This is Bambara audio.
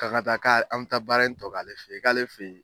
K'an ka ta kan bɛ taa baara in tɔ k'ale fɛ yen, k'ale fɛ yen.